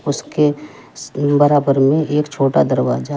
उसके बराबर में एक छोटा दरवाजा है।